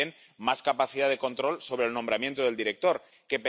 Y también más capacidad de control sobre el nombramiento del director ejecutivo.